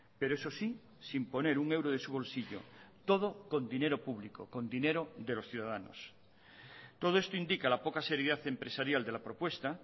pero eso sí sin poner un euro de su bolsillo todo con dinero público con dinero de los ciudadanos todo esto indica la poca seriedad empresarial de la propuesta